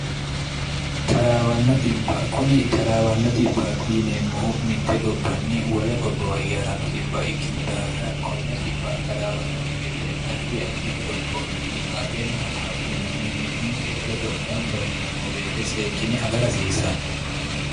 taraawanno xbb kuni taraawanno xbbte yineemmohu mitte gobbanni wole gobbowa hige ha'ranno xbb ikkinno daafira konne taraawanno gede ardi addi qoropho xinqaaqenna hattono mimmitinke ledo gamba yineemmo beete seekinne agara hasiissanno